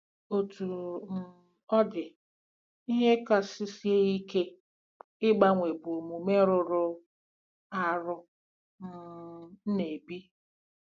Otú um ọ dị, ihe kasị sie ike ịgbanwe bụ omume rụrụ arụ m um na-ebi.